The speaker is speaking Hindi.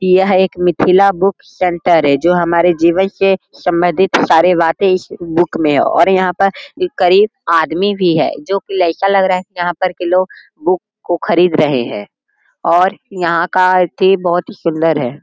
यह एक मिथिला बुक सेंटर है। जो हमारे जीवन से संबंधित सारी बातें इस बुक में है। और यहां पर एक करीब आदमी भी है। जो कि ऐसा लग रहा है। यहां पर किलो बुक को खरीद रहे हैं। और यहां का अथी बोहोत ही सुंदर है।